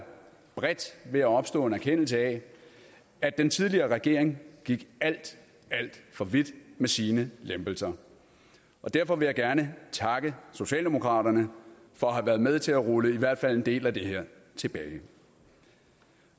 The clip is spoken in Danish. ved at opstå en erkendelse af at den tidligere regering gik alt alt for vidt med sine lempelser derfor vil jeg gerne takke socialdemokraterne for at have været med til at rulle i hvert fald en del af det her tilbage